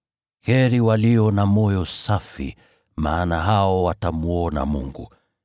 Heri walio na moyo safi, maana hao watamwona Mungu.